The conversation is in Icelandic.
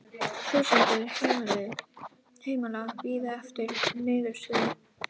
Þúsundir heimila bíði eftir niðurstöðu